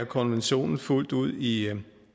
konventionen fuldt ud i